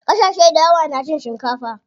Ƙasashe dayawa na cin shikafa.